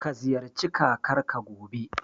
Ka ziyarci Kakarka, gobe.